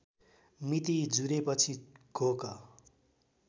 मिति जुरेपछि घोक